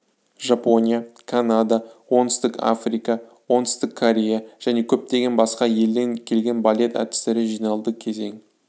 жапония канада оңтүстік африка оңтүстік корея және көтпеген басқа елден келген балет әртістері жиналды кезең